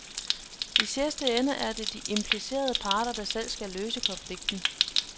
I sidste ende er det de implicerede parter, der selv skal løse konflikten.